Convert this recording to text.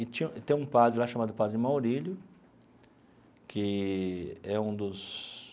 E tinha tem um padre lá chamado Padre Maurílio, que é um dos